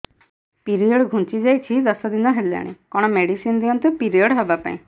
period ଘୁଞ୍ଚି ଯାଇଛି ଦଶ ଦିନ ହେଲାଣି କଅଣ ମେଡିସିନ ଦିଅନ୍ତୁ ପିରିଅଡ଼ ହଵା ପାଈଁ